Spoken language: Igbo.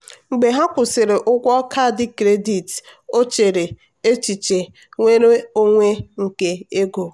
mgbe ha kwụsịrị ụgwọ kaadị kredit o chere echiche nnwere onwe nke ego.